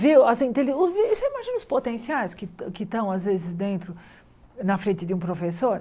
Viu assim entende você imagina os potenciais que que estão, às vezes, dentro, na frente de um professor?